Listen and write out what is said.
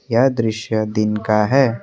यह दृश्य दिन का है।